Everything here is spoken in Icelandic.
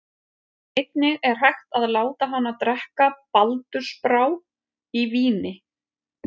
Einnig er hægt að láta hana drekka baldursbrá í víni.